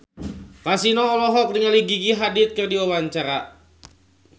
Kasino olohok ningali Gigi Hadid keur diwawancara